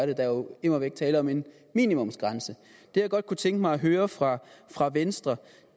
det der er jo immer væk tale om en minimumsgrænse det jeg godt kunne tænke mig at høre fra fra venstre